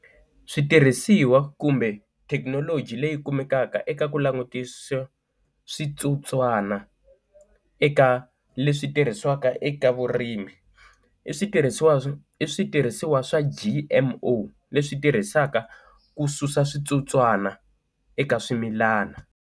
Switirhisiwa kumbe thekinoloji leyi kumekaka eka ku langutisa switsotswana eka leswi tirhisiwaka eka vurimi i switirhisiwa i switirhisiwa swa G_M_O leswi tirhisaka ku susa switsotswana eka swimilana.